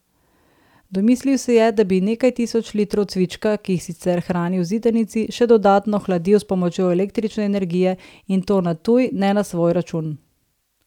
Domislil se je, da bi nekaj tisoč litrov cvička, ki jih sicer hrani v zidanici, še dodatno hladil s pomočjo električne energije, in to na tuj, ne na svoj račun.